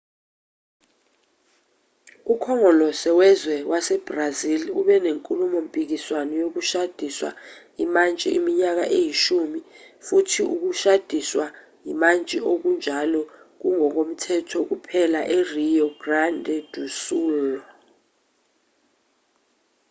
ukhongolose wezwe wasebrazil ube nenkulumo-mpikiswano yokushadiswa imantshi iminyaka eyishumi futhi ukushadiswa imantshi okunjalo kungokomthetho kuphela e-rio grande do sul